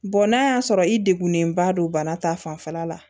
n'a y'a sɔrɔ i degunenba don bana ta fanfɛla la